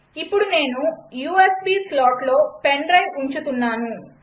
ఇప్పుడు నేను యూఎస్బీ స్లాట్లో పెన్ డ్రైవ్ ఉంచుతున్నాను